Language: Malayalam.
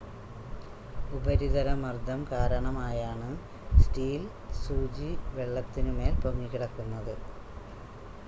ഉപരിതല മർദ്ദം കാരണമായാണ് സ്റ്റീൽ സൂചി വെള്ളത്തിനു മേൽ പൊങ്ങിക്കിടക്കുന്നത്